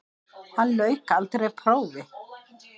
Hann lauk aldrei prófi.